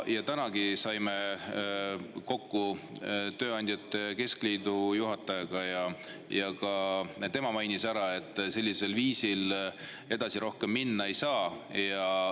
Tänagi saime kokku tööandjate keskliidu juhiga ja ka tema mainis, et sellisel viisil edasi minna ei saa.